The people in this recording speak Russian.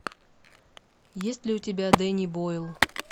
есть ли у тебя дэнни бойл